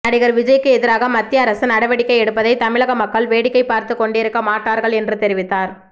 நடிகர் விஜய்க்கு எதிராக மத்திய அரசு நடவடிக்கை எடுப்பதை தமிழக மக்கள் வேடிக்கை பார்த்துக் கொண்டிருக்க மாட்டார்கள் என்றும் தெரிவித்தார்